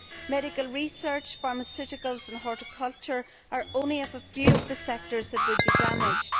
Medical research, pharmaceuticals and horticulture are only a few of the sectors that would be damaged.